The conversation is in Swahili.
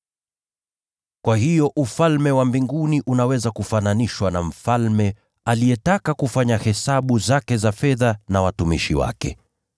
“Kwa hiyo Ufalme wa Mbinguni unaweza kufananishwa na mfalme aliyetaka kufanya hesabu zake za fedha na watumishi wake.